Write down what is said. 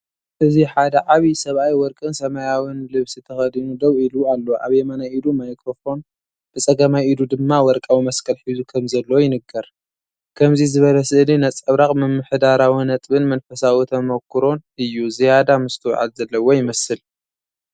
እዚ ሓደ ዓቢይ ሰብኣይ ወርቅን ሰማያውን ልብሲ ተኸዲኑ ደው ኢሉ ኣሎ። ኣብ የማናይ ኢዱ ማይክሮፎን ብጸጋማይ ኢዱ ድማ ወርቃዊ መስቀል ሒዙ ከምዘሎ ይንገር። ከምዚ ዝበለ ስእሊ ነጸብራቕ ምምሕዳራዊ ጥበብን መንፈሳዊ ተመክሮን እዩ። ዝያዳ ምስትውዓል ዘለዎ ይመስል።